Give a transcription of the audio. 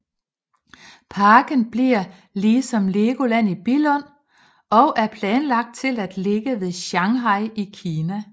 Parken bliver lige som Legoland i Billund og er planlagt til at ligge ved Shanghai i Kina